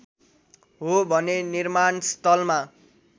हो भने निर्माणस्थलमा